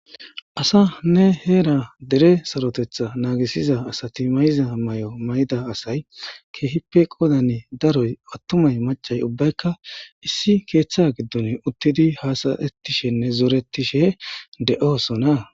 asane heera dere sarotetha naagisiza asati mayiza mayo mayida asay keehippe qoodan daroy attumay macay ubbaykka issi keeththa giddon uttidi haasa'ettishenne zooretishe de'oosona